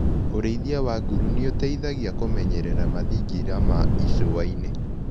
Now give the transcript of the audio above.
ũrĩithia wa nguru nĩũteithagia kũmenyerera mathingira ma icuainĩ.